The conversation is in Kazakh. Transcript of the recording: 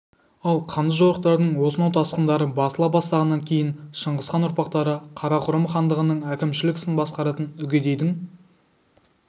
ал қанды жорықтардың осынау тасқындары басыла бастағаннан кейін шыңғысхан ұрпақтары қарақұрым хандығының әкімшілік ісін басқаратын үгедейдің